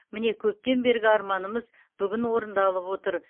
міне көптен бергі арманымыз бүгін орындалып отыр